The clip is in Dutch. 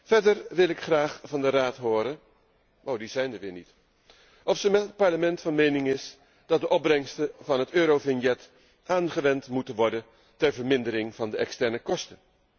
Verder wil ik graag van de Raad horen of hij met het Parlement van mening is dat de opbrengsten van het Eurovignet aangewend moeten worden ter vermindering van de externe kosten.